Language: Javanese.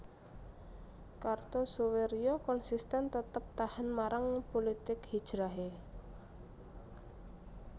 Kartosoewirjo konsisten tetep tahan marang pulitik hijrahe